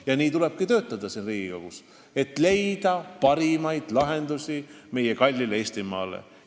Ja nii tulebki siin Riigikogus töötada, et leida parimaid lahendusi meie kalli Eestimaa jaoks.